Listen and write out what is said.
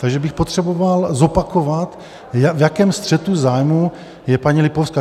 Takže bych potřeboval zopakovat, v jakém střetu zájmů je paní Lipovská.